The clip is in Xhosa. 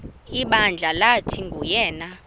ibandla lathi nguyena